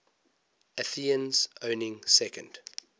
athenians owning second